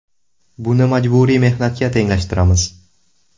Buni majburiy mehnatga tenglashtiramiz.